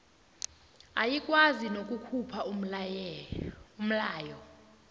ayikwazi nokukhupha umlayo